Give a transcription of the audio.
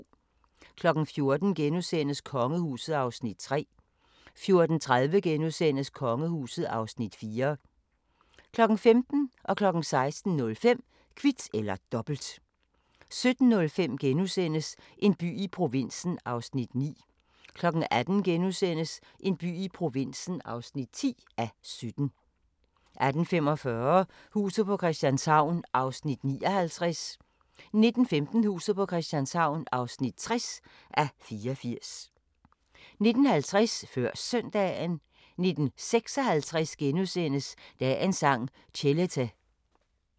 14:00: Kongehuset (Afs. 3)* 14:30: Kongehuset (Afs. 4)* 15:00: Kvit eller Dobbelt 16:05: Kvit eller Dobbelt 17:05: En by i provinsen (9:17)* 18:00: En by i provinsen (10:17)* 18:45: Huset på Christianshavn (59:84) 19:15: Huset på Christianshavn (60:84) 19:50: Før Søndagen 19:56: Dagens Sang: Chelete *